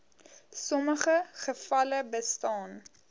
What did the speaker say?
sommige gevalle bestaan